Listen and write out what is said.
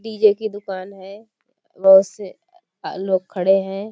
DJ. की दुकान है बहुत से अ लोग खड़े हैं।